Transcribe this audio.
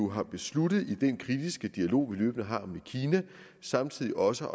har besluttet i den kritiske dialog vi i øvrigt har med kina samtidig også